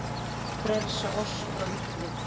Frelsa oss frá illu!